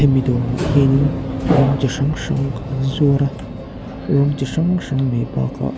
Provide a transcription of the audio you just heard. mi dawrah hianin rawng chi hrang hrang an zuar a rawng chi hrang hrang mai bakah--